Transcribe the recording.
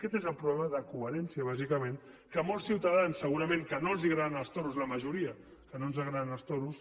aquest és el problema de coherència bàsicament que molts ciutadans segurament als quals no els agraden els toros a la majoria als quals no ens agraden els toros